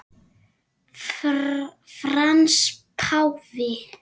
Frans páfi